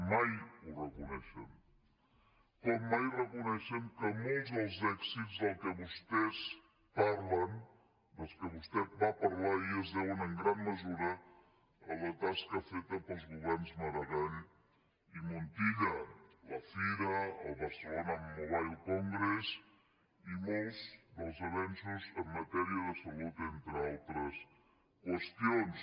mai ho reconeixen com mai reconeixen que molts dels èxits de què vostès parlen dels que vostè va parlar ahir es deuen en gran mesura a la tasca feta pels governs maragall i montilla la fira el barcelona mobile congress i molts dels avenços en matèria de salut entre altres qüestions